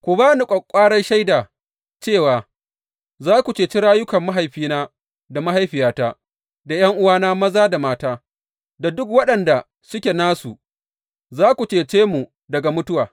Ku ba ni ƙwaƙƙwarar shaida cewa za ku ceci rayukan mahaifina da mahaifiyata, da ’yan’uwana maza da mata, da duk waɗanda suke nasu, za ku cece mu daga mutuwa.